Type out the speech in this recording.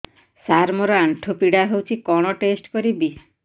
ସାର ମୋର ଆଣ୍ଠୁ ପୀଡା ହଉଚି କଣ ଟେଷ୍ଟ କରିବି